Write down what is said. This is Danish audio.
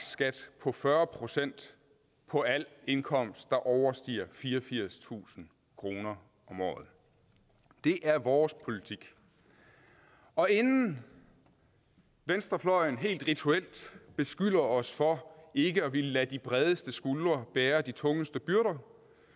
skat på fyrre procent på al indkomst der overstiger fireogfirstusind kroner om året det er vores politik og inden venstrefløjen helt rituelt beskylder os for ikke at ville lade de bredeste skuldre bære de tungeste byrder